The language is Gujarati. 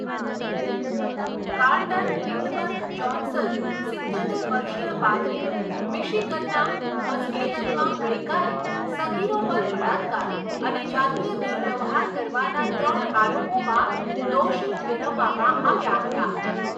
કાર્લટન લિન્ડબર્ગ જ્હોન્સન, સિત્યોતેર વર્ષીય પાદરી, મિશિગનના મસ્કેગનમાં ગઈકાલે સગીરો પર બળાત્કાર અને જાતીય દુર્વ્યવહાર કરવાના ત્રણ આરોપોમાં દોષી ઠેરવવામાં આવ્યા હતા.